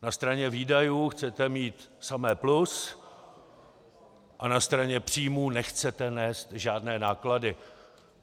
Na straně výdajů chcete mít samé plus a na straně příjmů nechcete nést žádné náklady.